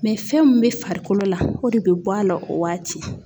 fɛn min be farikolo la, o de be bɔ a la o waati.